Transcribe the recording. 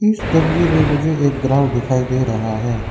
इस तस्वीर में मुझे एक ग्राउंड दिखाई दे रहा है।